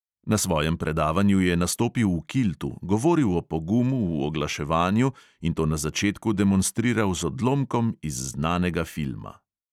Na svojem predavanju je nastopil v kiltu, govoril o pogumu v oglaševanju in to na začetku demonstriral z odlomkom iz znanega filma.